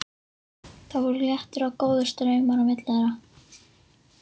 Það voru léttir og góðir straumar á milli þeirra.